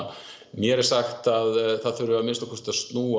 mér er sagt að það þurfi að minnsta kosti að snúa